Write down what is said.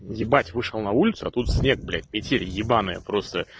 ебать вышел на улицу а тут снег блять метель ебаная просто